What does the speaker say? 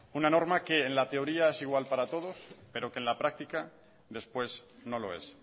una norma que en la teoría es igual para todos pero que en la práctica después no lo es